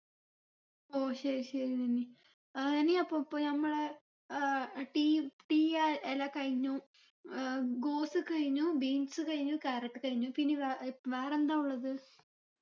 ഓ ശരി ശരി നനി ആഹ് ഇനി അപ്പൊ പ്പൊ നമ്മളെ ഏർ tea tea ആ ഇല കഴിഞ്ഞു ഏർ ഗോസ് കഴിഞ്ഞു beans കഴിഞ്ഞു carrot കഴിഞ്ഞു പിന്നെ വേ ഏർ വേറെന്താ ഉള്ളത്